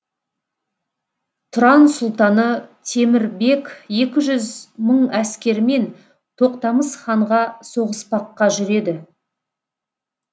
тұран сұлтаны темір бек екі жүз мың әскерімен тоқтамыс ханға соғыспаққа жүреді